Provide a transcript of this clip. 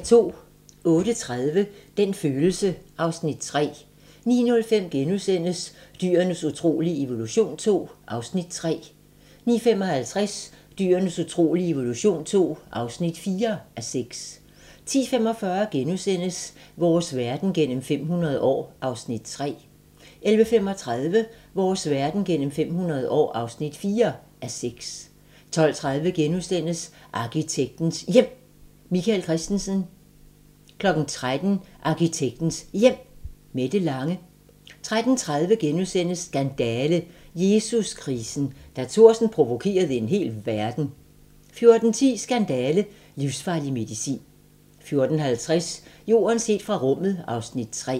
08:30: Den følelse (Afs. 3) 09:05: Dyrenes utrolige evolution II (3:6)* 09:55: Dyrenes utrolige evolution II (4:6) 10:45: Vores verden gennem 500 år (3:6)* 11:35: Vores verden gennem 500 år (4:6) 12:30: Arkitektens Hjem: Michael Christensen * 13:00: Arkitektens Hjem: Mette Lange 13:30: Skandale - Jesus-krisen: Da Thorsen provokerede en hel verden * 14:10: Skandale - livsfarlig medicin 14:50: Jorden set fra rummet (Afs. 3)